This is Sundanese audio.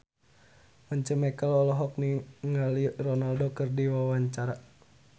Once Mekel olohok ningali Ronaldo keur diwawancara